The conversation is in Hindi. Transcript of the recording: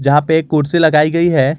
जहां पे एक कुर्सी लगाई गई है।